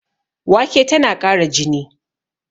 Wake tana ƙara jini